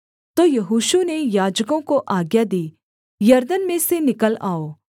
तो यहोशू ने याजकों को आज्ञा दी यरदन में से निकल आओ